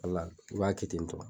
Ala i b'a kɛ ten tɔ.